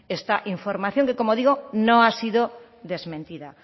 esta información que como digo no ha sido desmentida